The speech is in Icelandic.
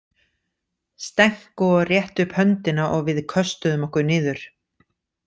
Stenko rétti upp höndina og við köstuðum okkur niður.